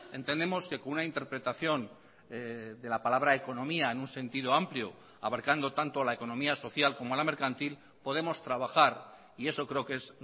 entendemos que con una interpretación de la palabra economía en un sentido amplio abarcando tanto la economía social como la mercantil podemos trabajar y eso creo que es